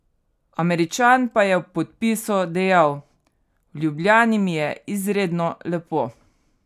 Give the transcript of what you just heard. Američan pa je ob podpisu dejal: 'V Ljubljani mi je izredno lepo.